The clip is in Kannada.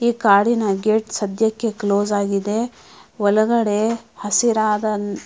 ಈ ಕಾಡಿನ ಗೇಟ್ ಸದ್ಯಕ್ಕೆ ಕ್ಲೋಸ್ ಆಗಿದೆ ಒಳಗಡೆ ಹಸಿರಾದ --